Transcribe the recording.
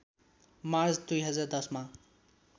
March २०१० मा